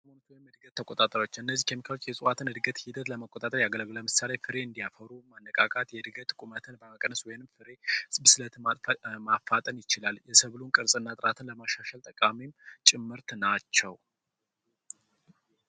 የእድገት ተቆጣጣሪወች: እነዚ ኬሚካሎች የእጽዋትን እድገት ሂደት ለመቆጣጠር ያገለግላሉ ። ለምሳሌ ክሪን የአፈሩ መተካካት የእድገትን ቁመት በመቀነስ ፍሬ እንዲሰጥ ማፋጠን ይችላል። የሰብሉን ቅርጽናና ጥርአት ለማሻሻል ጠቃሚ ጭምርት ናቸዉ።